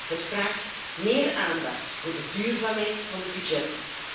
Het vraagt meer aandacht voor de duurzaamheid van de budgetten.